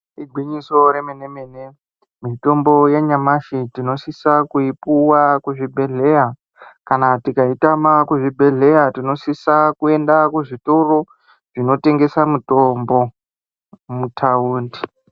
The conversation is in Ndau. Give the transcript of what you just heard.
Igwinyiso remenemene. Mitombo yanyamashi tinosisa kuipuwa kuzvibhedheya. Kana tikaitama kuzvibhedhleya tinosisa kwenda kuzvitoro zvinotengesa mitombo muthaundi.